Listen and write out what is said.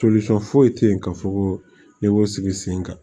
foyi tɛ yen ka fɔ ko n'i y'o sigi sen kan